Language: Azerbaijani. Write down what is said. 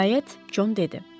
Nəhayət, Con dedi.